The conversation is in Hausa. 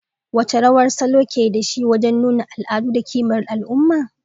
Wace rawa salo ke da shi wajen nuna al'adu da kimar al'umma?